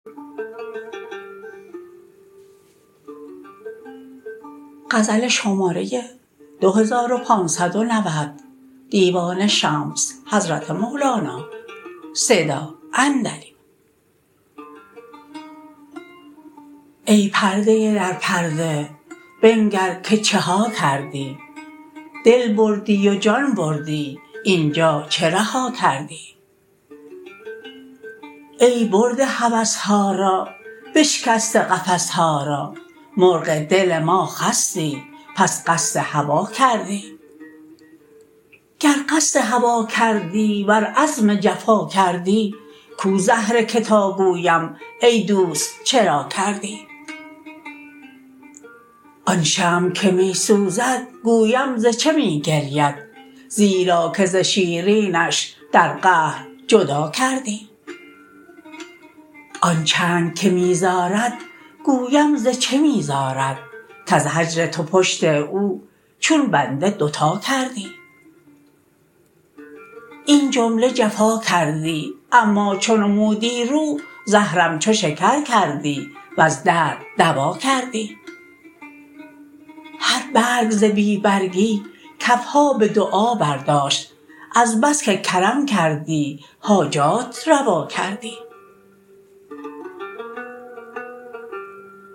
ای پرده ی در پرده بنگر که چه ها کردی دل بردی و جان بردی این جا چه رها کردی ای برده هوس ها را بشکسته قفس ها را مرغ دل ما خستی پس قصد هوا کردی گر قصد هوا کردی ور عزم جفا کردی کو زهره که تا گویم ای دوست چرا کردی آن شمع که می سوزد گویم ز چه می گرید زیرا که ز شیرینش در قهر جدا کردی آن چنگ که می زارد گویم ز چه می زارد کز هجر تو پشت او چون بنده دوتا کردی این جمله جفا کردی اما چو نمودی رو زهرم چو شکر کردی وز درد دوا کردی هر برگ ز بی برگی کف ها به دعا برداشت از بس که کرم کردی حاجات روا کردی